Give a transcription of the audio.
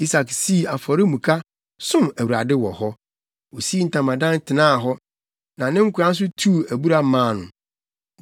Isak sii afɔremuka, som Awurade wɔ hɔ. Osii ntamadan tenaa hɔ, na ne nkoa nso tuu abura maa no.